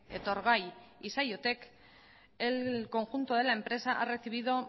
etorgai y saiotek el conjunto de la empresa ha recibido